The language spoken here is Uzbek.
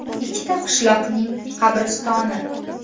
Ikkita qishloqning qabristoni.